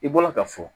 I bɔra ka fɔ